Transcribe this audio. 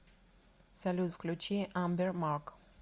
салют включи амбер марк